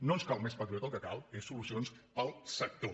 no ens cal més patriota el que cal és solucions per al sector